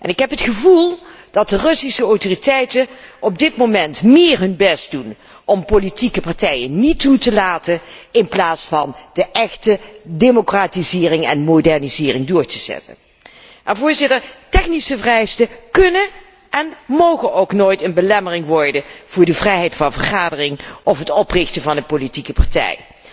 Ik heb het gevoel dat de Russische autoriteiten op dit moment meer hun best doen om politieke partijen niet toe te laten, dan om de echte democratisering en modernisering door te zetten. Technische vereisten kunnen en mogen ook nooit een belemmering worden voor de vrijheid van vergadering of het oprichten van een politieke partij.